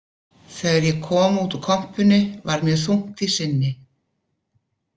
Þegar ég kom út úr kompunni var mér þungt í sinni.